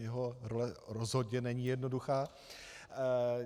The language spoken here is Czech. Jeho role rozhodně není jednoduchá.